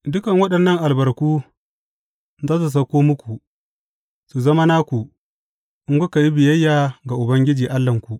Dukan waɗannan albarku za su sauko muku, su zama naku, in kuka yi biyayya ga Ubangiji Allahnku.